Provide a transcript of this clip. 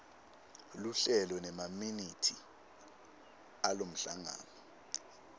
luhlelo nemaminithi alomhlangano